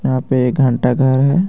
यहां पे एक घंटा घर है।